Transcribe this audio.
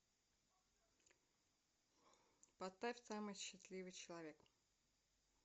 поставь самый счастливый человек